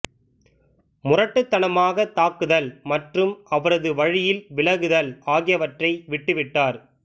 முரட்டுத்தனமாக தாக்குதல் மற்றும் அவரது வழியில் விலகுதல் ஆகியவற்றை விட்டுவிட்டார்